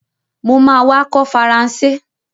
Mo ma wá kọ́ Faransé